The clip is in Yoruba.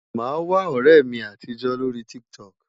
Màá wá ọ̀rẹ́ mi àtijó lórí TikTok.